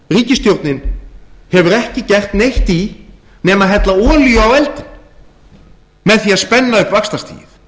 ríkisstjórnin hefur ekki gert neitt í nema hella olíu á eldinn með því að spenna upp vaxtastigið